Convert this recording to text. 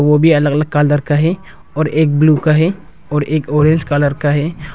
वो भी अलग अलग कलर का है और एक ब्लू का है और एक ऑरेंज कलर का है।